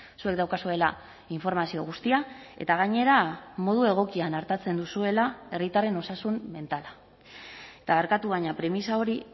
zuek daukazuela informazio guztia eta gainera modu egokian artatzen duzuela herritarren osasun mentala eta barkatu baina premisa hori